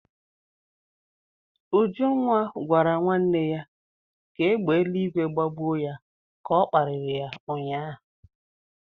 Ujunwa gwara nwanne ya ka égbè eluigwe gbagbuo ya ka ọ kparịrị ya ụnyahụ.